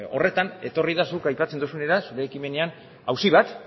horretan etorri da zuk aipatzen duzun ekimenean auzi bat